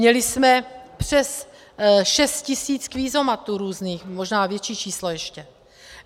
Měli jsme přes 6 tisíc kvízomatů různých, možná větší číslo ještě.